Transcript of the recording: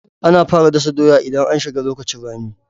Ana fara dasa doya idan an shiga lokacin rani